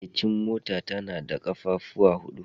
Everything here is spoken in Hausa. Matsakaicin mota tana da ƙafafu huɗu